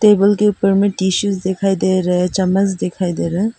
Table के ऊपर में टिशूज दिखाई दे रहा है चम्मच दिखाई दे रहा है।